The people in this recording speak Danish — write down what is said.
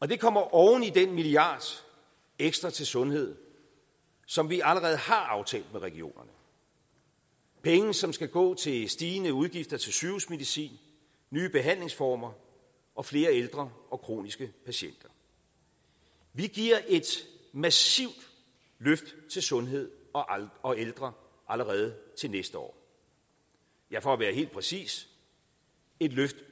det kommer oven i den milliard ekstra til sundhed som vi allerede har aftalt med regionerne penge som skal gå til stigende udgifter til sygehusmedicin nye behandlingsformer og flere ældre og kroniske patienter vi giver et massivt løft til sundhed og ældre allerede til næste år ja for at være helt præcis et løft